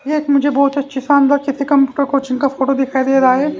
येक मुझे बहुत अच्छी शानदार किसी कंप्यूटर कोचिंग का फोटो दिखाई दे रहा है।